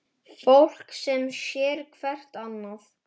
Fólk sem sér hvert annað.